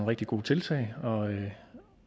rigtig gode tiltag